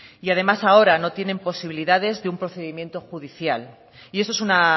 y además ahora no tienen posibilidades de un procedimiento judicial y eso es una